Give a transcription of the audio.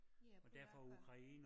Ja polakker